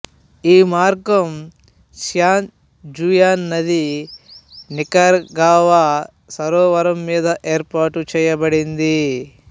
ఈ మార్గం San Juan నది నికరాగ్వా సరోవరం మీదుగా ఏర్పాటు చేయబడింది